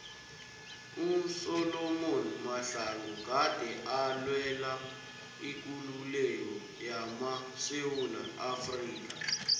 usolom mahlangu gade alwela ikululeko yamasewula afrika